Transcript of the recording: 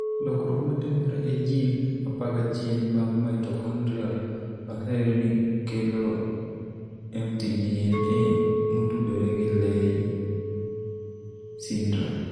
Lokruok matimore e gene 11 mag mitochondrial oseyud ni kelo mtDNA motudore gi Leigh syndrome.